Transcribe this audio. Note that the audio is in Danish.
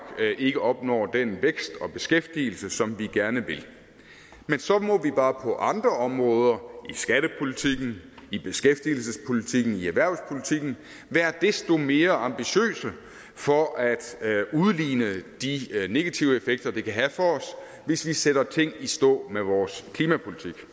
ikke opnår den vækst og beskæftigelse som vi gerne vil men så må vi bare på andre områder i skattepolitikken i beskæftigelsespolitikken i erhvervspolitikken være desto mere ambitiøse for at udligne de negative effekter det kan have for os hvis vi sætter ting i stå med vores klimapolitik